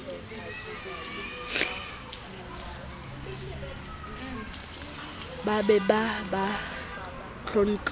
ba be ba ba tlontlolle